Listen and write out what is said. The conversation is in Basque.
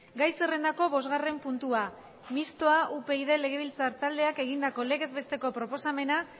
gai zerrendako bosgarren puntua mistoa upyd legebiltzar taldeak egindako legez besteko proposamena